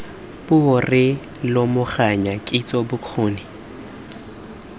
puo re lomaganya kitso bokgoni